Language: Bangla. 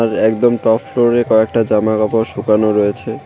এ-একদম টপ ফ্লোরে কয়েকটা জামাকাপড় শুকানো রয়েছে।